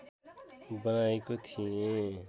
बनाएको थिएँ